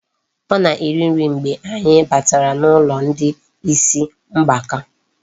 Ọ na-eri nri mgbe anyị batara n'ụlọ ndị isi mgbaka.